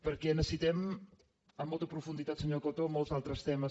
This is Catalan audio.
perquè necessitem amb molta profunditat senyor coto molts altres temes